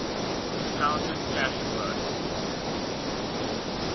discounted cash flow